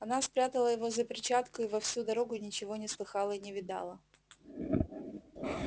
она спрятала его за перчатку и во всю дорогу ничего не слыхала и не видала